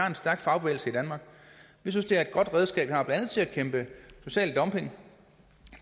en stærk fagbevægelse i danmark vi synes det er et godt redskab vi har blandt andet til at bekæmpe social dumping